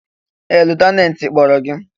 Ee! Lutenantị kpọrọ gị!